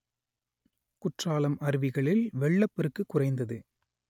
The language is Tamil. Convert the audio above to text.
குற்றாலம் அருவிகளில் வெள்ளப் பெருக்கு குறைந்தது